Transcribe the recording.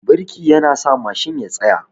Birki yana sa Mashin ya tsaya